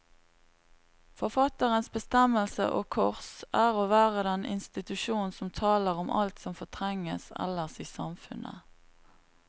Forfatterens bestemmelse, og kors, er å være den institusjon som taler om alt som fortrenges ellers i samfunnet.